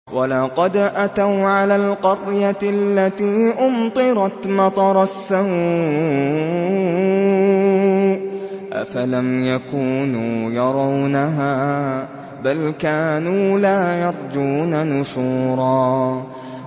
وَلَقَدْ أَتَوْا عَلَى الْقَرْيَةِ الَّتِي أُمْطِرَتْ مَطَرَ السَّوْءِ ۚ أَفَلَمْ يَكُونُوا يَرَوْنَهَا ۚ بَلْ كَانُوا لَا يَرْجُونَ نُشُورًا